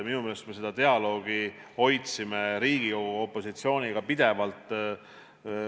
Minu meelest me seda dialoogi hoidsime Riigikogu opositsiooniga pidevalt.